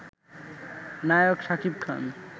নায়ক Shakib খান